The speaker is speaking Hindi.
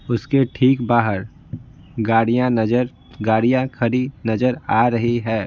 उसके ठीक बाहर गाड़ियां नजर गाड़ियां खड़ी नजर आ रही है।